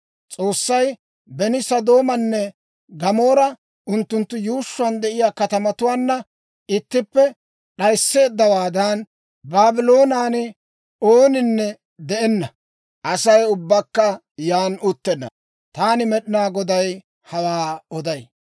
S'oossay beni Sodoomaanne Gamoora unttunttu yuushshuwaan de'iyaa katamatuwaanna ittippe d'ayisseeddawaadan, Baabloonen ooninne de'enna; Asay ubbakka yaan uttenna. Taani Med'inaa Goday hawaa oday.